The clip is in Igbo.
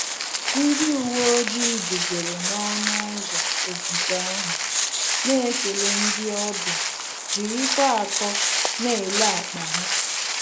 Ndị uwe ojii guzoro n'ọṅụ ụzọ ogige ahụ, na-ekele ndị ọbịa jirikwa akọ na-ele akpa ha